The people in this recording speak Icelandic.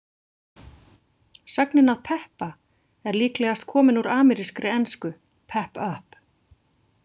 Sögnin að peppa er líklegast komin úr amerískri ensku, pep up.